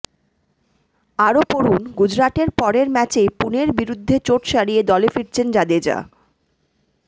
আরও পড়ুন গুজরাটের পরের ম্যাচেই পুনের বিরুদ্ধে চোট সারিয়ে দলে ফিরছেন জাদেজা